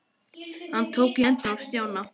Hann tók í hendina á Stjána.